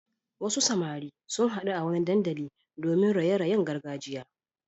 Wasu samari sun haɗu a wani dandali domin raye-rayen gargajiya.